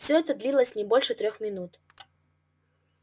все это длилось не больше трёх минут